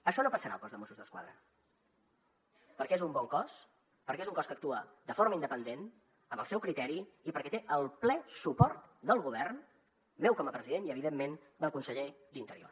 això no passarà al cos de mossos d’esquadra perquè és un bon cos perquè és un cos que actua de forma independent amb el seu criteri i perquè té el ple suport del govern meu com a president i evidentment del conseller d’interior